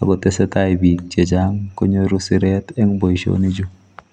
akotesetai bik chechang konyoru siret eng boisionichu.